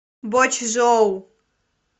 бочжоу